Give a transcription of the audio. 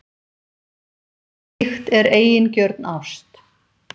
Slíkt er eigingjörn ást.